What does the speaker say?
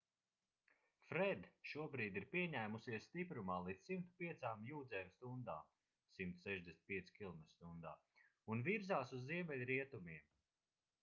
fred šobrīd ir pieņēmusies stiprumā līdz 105 jūdzēm stundā 165 km/h un virzās uz ziemeļrietumiem